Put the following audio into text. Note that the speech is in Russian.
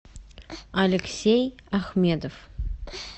алексей ахмедов